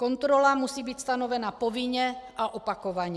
Kontrola musí být stanovena povinně a opakovaně.